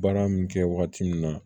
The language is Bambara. Baara min kɛ wagati min na